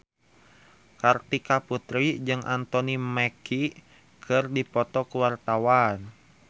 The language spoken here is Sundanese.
Kartika Putri jeung Anthony Mackie keur dipoto ku wartawan